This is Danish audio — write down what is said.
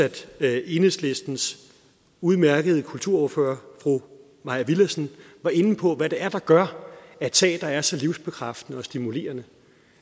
at enhedslistens udmærkede kulturordfører fru mai villadsen var inde på hvad det er der er gør at teater er så livsbekræftende og stimulerende